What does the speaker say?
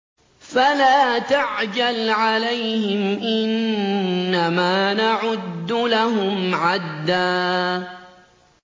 فَلَا تَعْجَلْ عَلَيْهِمْ ۖ إِنَّمَا نَعُدُّ لَهُمْ عَدًّا